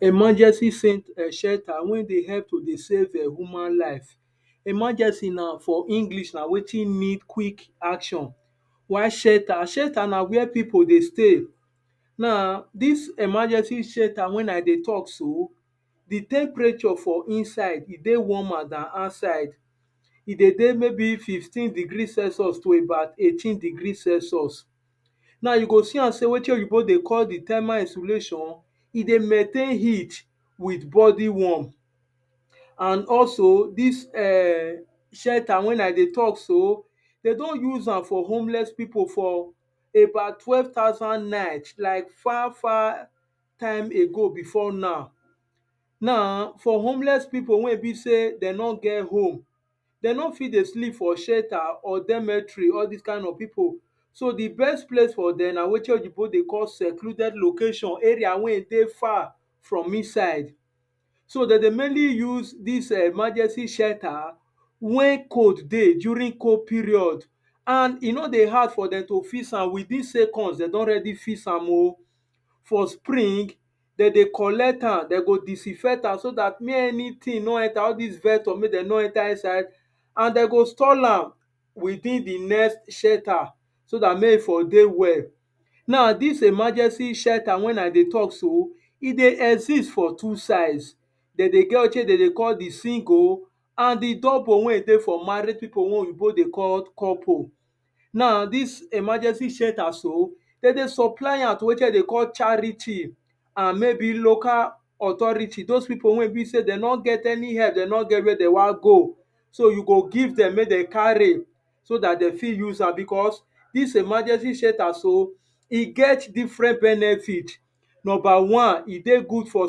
Emergency center wey dey help to save human life, emergency for English na wetin need quick action while shelter, shelter na where pipu dey stay. Emergency shelter wen I dey talk sso di tempereture for inside e dey warm more dan outside, e dey maybe fifteen degree celcius to about eighteen degree celcius. Now you go se am so wetin oyibo dey call thermal insulation, e dey maintain heat with bodi warm and also dis shelter wen I dey talk so, de don use am for homeless pipu about twelve thousand night like far far time ago befor now. Now for homeless pipu wen e be sey de nor get home, de nor fit dey sleep for shelter, so di best place for dem na where opyibo dey call secluded location so de dey mainly use dis emergency shelter wen cold dey during cold period and e nor dey hard for dem to fix am within seconds de don already fix am, for spring, de dey collect am, de go disinfect am so dat mey anything nor enter all dis vector nor enter and de go stone am withing di next shelter so dt men for dey well. Now dis emergency shelter wen I dey talk so, e dey exist for two sides, de dey get wetin de dey call di single and di double wen e dey for married pipu wen oyinbo dey call couple. Now dis emergency shelter so de dey supoly am to wetin de dey call charity and maybe local or authority those pipu wen e be sey de nor get any help, de nor get where de wan go and e go give dem mek dem carry so dat de fit use am because dis emergency center so, e get different benefit, nuber wan, e dey good for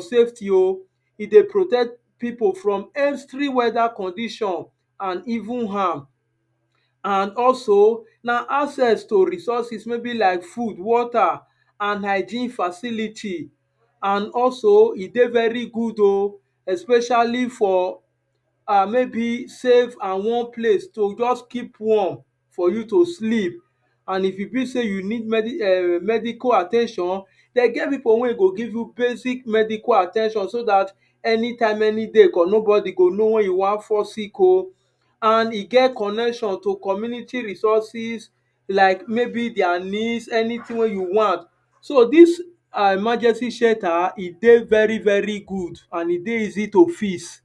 safety o, e dey protect pipu from any weda condition and even harm and also na access to resources maybe like food water and healthy facility. And also e dey very good o, especially for maybe save and warm place to just keepo warm for you to sleep and if you be sey you need medical at ten tion, den getpipu wen go give you basic medical at ten tion so dat any time any day den get pipu wey go know wen you wan fall sick o, and e get connection to community resources like maybe their need anything wey you want so dis emergency shelter, e dey very very good and e dey easy to fix.